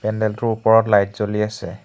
পেণ্ডেলটোৰ ওপৰত লাইট জলি আছে।